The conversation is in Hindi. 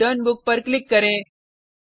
checkoutरिटर्न बुक पर क्लिक करें